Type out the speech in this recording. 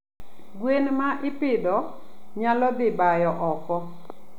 Gwen ma ipidho nyalo dhi bayo oko.